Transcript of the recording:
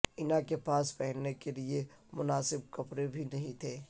اینا کے پاس پہننے کے لیے مناسب کپڑے بھی نہیں تھے